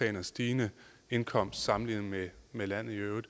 en stigende indkomst sammenlignet med med landet i øvrigt